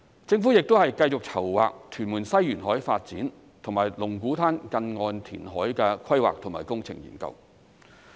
政府亦會繼續籌劃屯門西沿海發展和龍鼓灘近岸填海的規劃及工程研究。